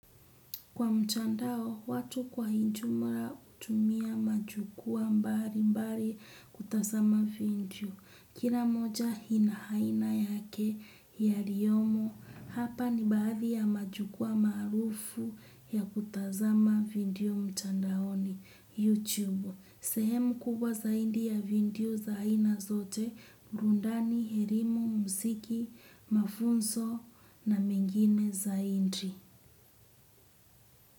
Kwa mtandao, watu kwa ujumla hutumia majukwaa mbali mbali kutazama video. Kila moja ina aina yake yaliyomo, hapa ni baadhi ya majukwaa maarufu ya kutazama video mtandaoni YouTube. Sehemu kubwa zaidi ya video za aina zote, burudani, elimu, muziki, mafunzo na mengine zaidi.